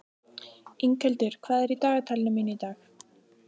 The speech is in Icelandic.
Inghildur, hvað er í dagatalinu mínu í dag?